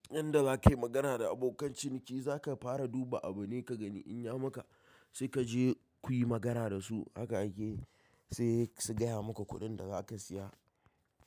In da zaka yi magana da abokan ciniki, za ka fara duba abune ka gani in ya maka sai ka je ku yi magana da su. Haka ake, sai su gaya maka kuɗin da za ka siya.